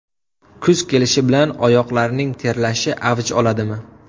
Kuz kelishi bilan oyoqlarning terlashi avj oladimi?.